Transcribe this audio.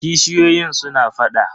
kishiyoyin suna faɗa.